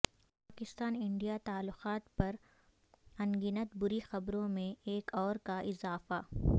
Pakistan India تعلقات پر ان گنت بری خبروں میں ایک اور کا اضافہ